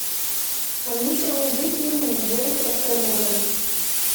алиса найди фильм джеймса кэмерона